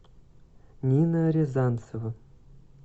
нина рязанцева